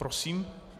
Prosím.